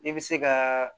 I bɛ se ka